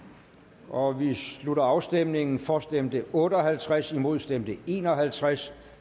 om vedtagelse vi slutter afstemningen for stemte otte og halvtreds imod stemte en og halvtreds